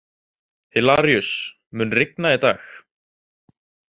Hilaríus, mun rigna í dag?